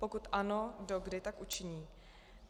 Pokud ano, do kdy tak učiní.